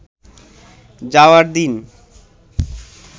যাওয়ার দিন